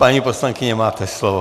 Paní poslankyně, máte slovo.